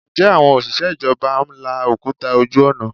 Ǹjẹ́ àwọn òṣìṣẹ́ ìjọba ń la òkúta ojú ọ̀nà?